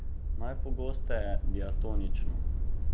Najpogosteje diatonično.